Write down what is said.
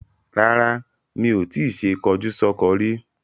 Rara, mi o ti ṣe kọjúsọ́kọ rí.